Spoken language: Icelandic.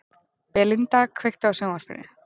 Belinda, kveiktu á sjónvarpinu.